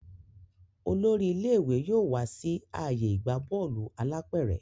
olórí ilé ìwé yóò wá sí ààyè ìgbà Bọ́ọ̀lù alápẹ̀rẹ̀